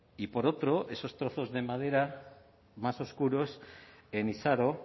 y por otro esos trozos de manera más oscuros en izaro